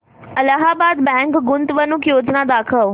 Allahabad bank गुंतवणूक योजना दाखव